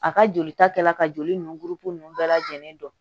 A ka jolita kɛla ka joli nun gurupu nunnu bɛɛ lajɛlen don